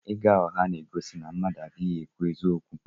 Ịgha ụgha na-egosi na mmadụ adịghị ekwu eziokwu.